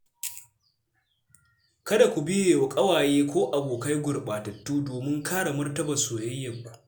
Kada ku biye wa ƙawaye ko abokai gurɓatattu domin kare martabar soyayyarku.